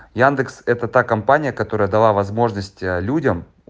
яндекс это та компания которая дала возможность людям